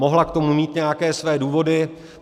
Mohla k tomu mít nějaké své důvody.